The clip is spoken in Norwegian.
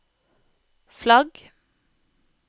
flagg